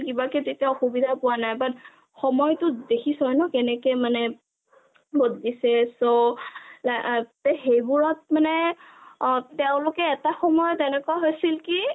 তেতিয়া অসুবিধা পোৱা নাই but সময়টো দেখিছ ন কেনেকে মানে বদলিছে so সেইবোৰত মানে তেওলোকে এটা সময়ত এনেকুৱা হৈছিল কি